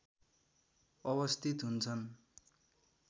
अवस्थित हुन्छन्